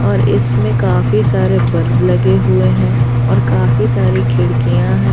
और इसमें काफी सारे बल्ब लगे हुए हैं और काफी सारी खिड़कियां हैं।